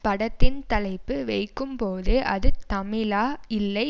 படத்தின் தலைப்பு வைக்கும் போதே அது தமிழா இல்லை